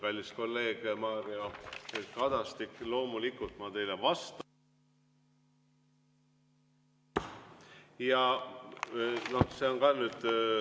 Kallis kolleeg Mario Kadastik, loomulikult ma teile vastan.